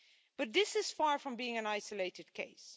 But this is far from being an isolated case.